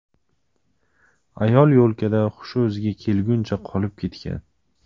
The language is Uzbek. Ayol yo‘lkada hushi o‘ziga kelguncha qolib ketgan.